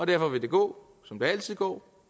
derfor vil det gå som det altid går